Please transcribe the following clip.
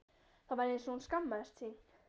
Það var eins og hún skammaðist sín.